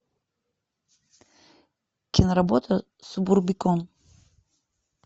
киноработа субурбикон